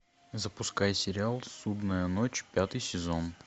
запускай сериал судная ночь пятый сезон